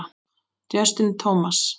Justin Thomas.